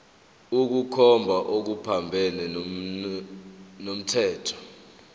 ukukhomba okuphambene nomthetho